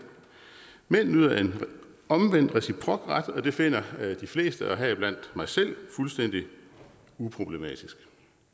mænd nyder omvendt en reciprok ret og det finder de fleste heriblandt mig selv fuldstændig uproblematisk